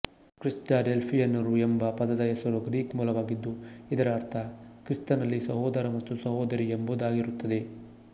ಕ್ರಿಸ್ಡಡೆಲ್ಫಿಯನ್ನರುಯೆಂಬ ಪದದ ಹೆಸರು ಗ್ರೀಕ್ ಮೂಲವಾಗಿದ್ದು ಇದರ ಅರ್ಥ ಕ್ರಿಸ್ತನಲ್ಲಿ ಸಹೋದರ ಮತ್ತು ಸಹೋದರಿ ಎಂಬುದಾಗಿರುತ್ತದೆ